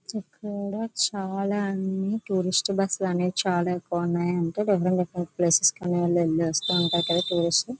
చుట్టూరా చాలా అన్ని కూడా చాలా టూరిస్ట్ బస్సులు అనేవి చాలా ఎక్కువ ఉన్నాయి.అంటే డిఫరెంట్ డిఫరెంట్ ప్లేసెస్ కి అనేవి వెళ్ళొస్తా ఉంటారు కదా టూరిస్టుల లు .